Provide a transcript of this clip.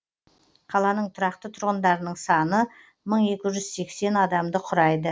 қаланың тұрақты тұрғындарының саны мың екі жүз сексен адамды құрайды